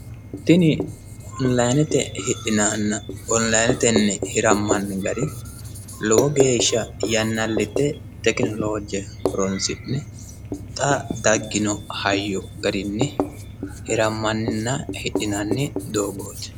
tini onilinetenna hidhinanninna hirammanni gari lowo geeshsha yannillitte tekinoloe horonsi'ne xa daggino hayyo garinni hirammanninna hidhinanni doogooti.